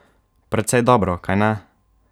Precej dobro, kajne?